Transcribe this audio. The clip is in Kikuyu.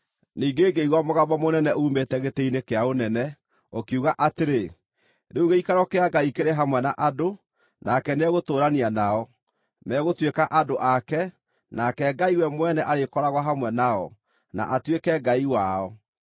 Ningĩ ngĩigua mũgambo mũnene uumĩte gĩtĩ-inĩ-kĩa-ũnene, ũkiuga atĩrĩ, “Rĩu gĩikaro kĩa Ngai kĩrĩ hamwe na andũ, nake nĩegũtũũrania nao. Megũtuĩka andũ ake, nake Ngai we Mwene arĩkoragwo hamwe nao, na atuĩke Ngai wao.